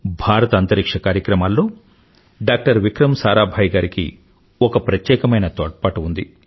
భారత అంతరిక్ష్య కార్యక్రమాల్లో డాక్టర్ విక్రమ్ సారాభాయ్ గారికి ఒక ప్రత్యేకమైన తోడ్పాటు ఉంది